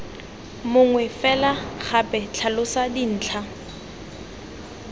mongwe fela gape tlhalosa dintlha